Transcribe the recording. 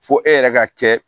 Fo e yɛrɛ ka kɛ